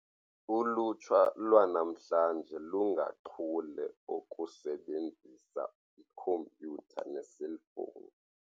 Ulutsha lwanamhlanje lungachule okusebenzisa ikhompyutha neeselfowuni.